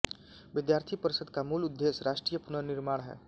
विद्यार्थी परिषद् का मूल उद्देश्य राष्ट्रीय पुनर्निर्माण है